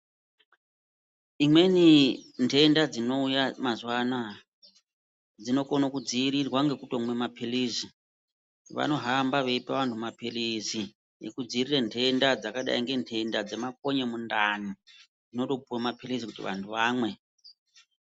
Imweni ntenda dzinouya mazuwa anoya dzinokone kudziirirwa nggekutomwe maphilizi, vanohamba veipa vantu maphilizi ekudziirire ntenda dzakadai ngentenda dzemakonye mundani. Dzinotopuwe maphilizi kuti vantu vamwe.